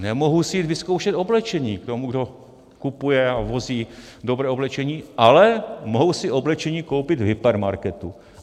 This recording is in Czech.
Nemohu si jít vyzkoušet oblečení k tomu, kdo kupuje a vozí dobré oblečení, ale mohu si oblečení koupit v hypermarketu.